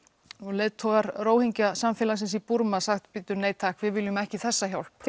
leiðtogar Rohingja samfélagsins í Búrma sagt bíddu nei takk við viljum ekki þessa hjálp